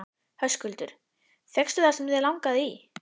Höskuldur: Fékkstu það sem þig langaði í?